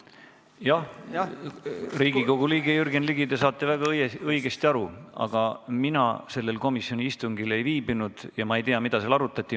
Jah, Riigikogu liige Jürgen Ligi, te saate väga õigesti aru, aga mina sellel komisjoni istungil ei viibinud ja ma ei tea, mida seal arutati.